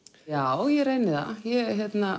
já ég reyni það ég